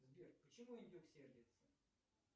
сбер почему индюк сердится